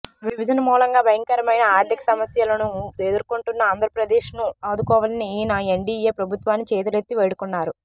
విభజన మూలంగా భయంకరమైన ఆర్థిక సమస్యలను ఎదుర్కొంటున్న ఆంధ్రప్రదేశ్ను ఆదుకోవాలని ఆయన ఎన్డీఏ ప్రభుత్వాన్ని చేతులెత్తి వేడుకున్నారు